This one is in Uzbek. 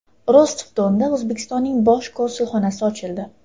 Rostov-Donda O‘zbekistonning bosh konsulxonasi ochildi.